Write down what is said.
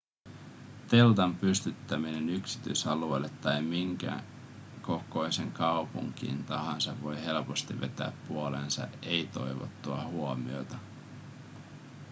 teltan pystyttäminen yksityisalueelle tai minkä kokoiseen kaupunkiin tahansa voi helposti vetää puoleensa ei-toivottua huomiota